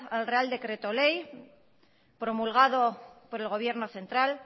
al real decreto ley promulgado por el gobierno central